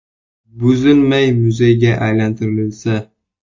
Buzilmay, muzeyga aylantirilsa.